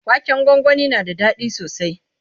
waken gwangwani na da daɗi sosai